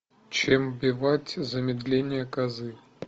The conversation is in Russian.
чем вбивать замедление козы